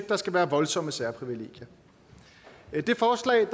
der skal være voldsomme særprivilegier det forslag